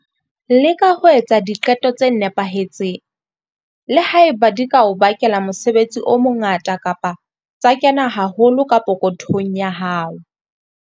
Leka ho etsa diqeto tse nepahetseng, le ha eba di ka o bakela mosebetsi o mongata kapa tsa kena haholo ka pokothong ya hao.